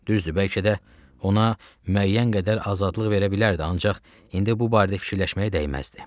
Düzdür, bəlkə də ona müəyyən qədər azadlıq verə bilərdi, ancaq indi bu barədə fikirləşməyə dəyməzdi.